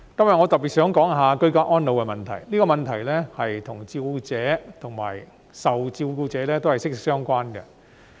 我今天想特別談談居家安老的問題，這個問題與照顧者及受照顧者息息相關。